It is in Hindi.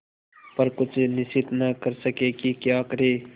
पर कुछ निश्चय न कर सके कि क्या करें